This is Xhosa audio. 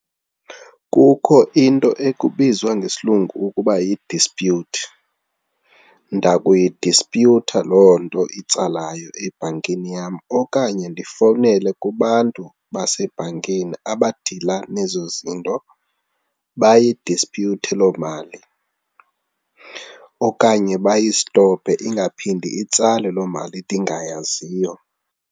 Kukho into ekubizwa ngesilungu ukuba yi-dispute, ndakuyidispyutha loo nto itsalayo ebhankini yam okanye ndifowunele kubantu basebhankini abadila nezo zinto bayidisputhe loo mali okanye bayistophe ingaphindi itsale loo mali ndingayaziyo.